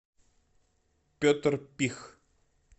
петр пих